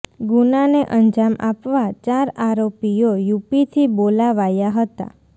ગુનાને અંજામ આપવા ચાર આરોપીઓ યુપીથી બોલાવાયા હતા